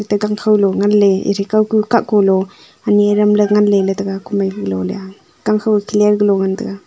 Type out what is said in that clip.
gangkho lung ngan le e the kau ku kahkung lung ani adam le ngan lela tega komai lo leya gang kho ye clear galo ngan tega.